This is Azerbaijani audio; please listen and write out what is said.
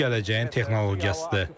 Bu gələcəyin texnologiyasıdır.